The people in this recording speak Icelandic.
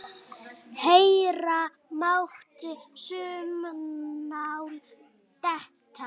Heyra mátti saumnál detta.